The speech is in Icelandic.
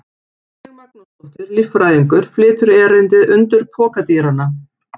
Rannveig Magnúsdóttir, líffræðingur, flytur erindið: Undur pokadýranna.